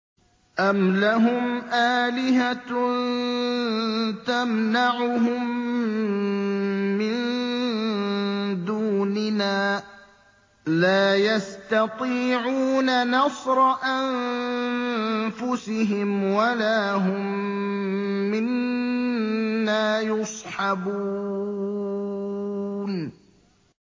أَمْ لَهُمْ آلِهَةٌ تَمْنَعُهُم مِّن دُونِنَا ۚ لَا يَسْتَطِيعُونَ نَصْرَ أَنفُسِهِمْ وَلَا هُم مِّنَّا يُصْحَبُونَ